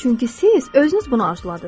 Çünki siz özünüz bunu arzuladız.